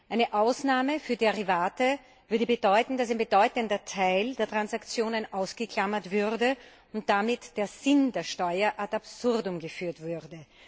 Eine Ausnahme für Derivate würde bedeuten, dass ein bedeutender Teil der Transaktionen ausgeklammert und damit der Sinn der Steuer at absurdum geführt würde.